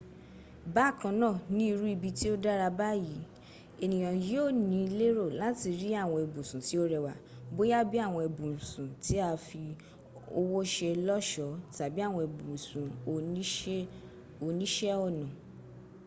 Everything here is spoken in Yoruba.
bakanna ni iru ibi ti o dara bayi eniyan yio ni lero lati ri awon ibusun ti o rewa boya bi awon ibusun ti a fi owo se loso tabi awon ibusun onise ona